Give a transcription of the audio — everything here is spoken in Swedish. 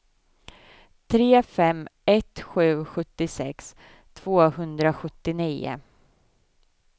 tre fem ett sju sjuttiosex tvåhundrasjuttionio